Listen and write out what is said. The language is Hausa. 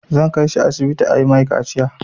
Zan kai shi asibiti a yi mai kaciya.